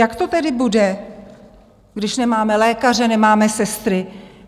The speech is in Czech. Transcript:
Jak to tedy bude, když nemáme lékaře, nemáme sestry?